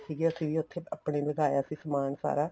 ਸੀਗੇ ਅਸੀਂ ਵੀ ਉੱਥੇ ਆਪਣਾ ਲਗਾਇਆ ਸੀ ਸਮਾਨ ਸਾਰਾ